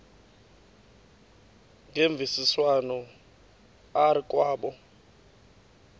ngemvisiswano r kwabo